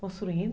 Construindo.